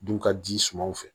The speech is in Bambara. Du ka ji sumaw fɛ